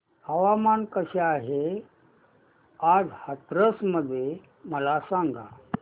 हवामान कसे आहे आज हाथरस मध्ये मला सांगा